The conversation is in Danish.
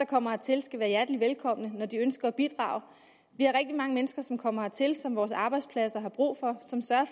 kommer hertil skal være hjerteligt velkomne når de ønsker at bidrage vi har rigtig mange mennesker som kommer hertil som vores arbejdspladser har brug for